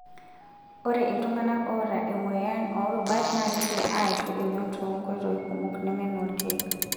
Ore iltungana oota emoyian orubat naa keidim aishu emion too nkoitoi kumok neme noolkeek.